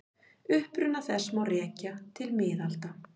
Uppruna þess má rekja til miðalda.